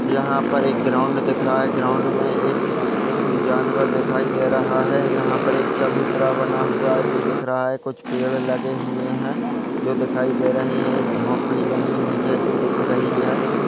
यहा पर एक ग्राउंड दिख रहा है ग्राउंड में एक जानवर दिखाई दे रहा है यहा पर एक चबूतरा बना हुआ है जो दिख रहा है कुछ पेड़ लगे हुए है जो दिखाई दे रहे है एक झोपड़ी बनी हुई है जो दिख रही है।